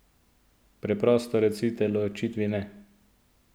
Preprosto recite ločitvi ne!